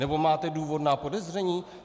Nebo máte důvodná podezření?